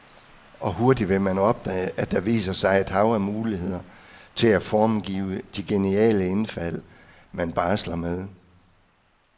Og hurtigt vil man opdage, at der viser sig et hav af muligheder til at formgive de geniale indfald, man barsler med.